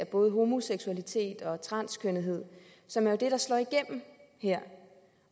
både homoseksuelle og transkønnede som jo er det der slår igennem her